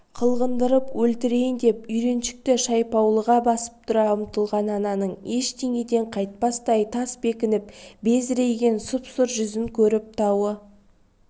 қылғындырып өлтірейін деп үйреншікті шайпаулығына басып тұра ұмтылған ананың ештеңеден қайтпастай тас бекініп безірейген сұп-сұр жүзін көріп тауы